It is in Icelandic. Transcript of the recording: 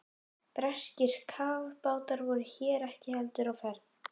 Breskir kafbátar voru hér ekki heldur á ferð.